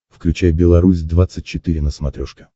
включай белорусь двадцать четыре на смотрешке